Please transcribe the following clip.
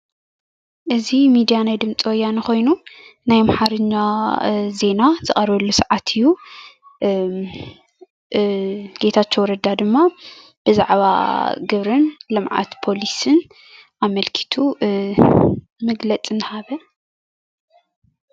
እዚ ሚድያ ናይ ድምፂ ወያነ ኮይኑ ናይ ኣምሓርኛ ዜና ዝቀርበሉ ሰዓት እዩ፣ ጌታቸው ረዳ ድማ ብዛዕባ ግብርን ልምዓት ፖሊስን ኣመልኪቱ መግለፂ እንዳሃበ ፡፡